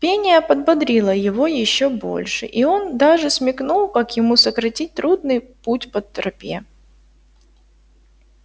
пение подбодрило его ещё больше и он даже смекнул как ему сократить трудный путь по тропе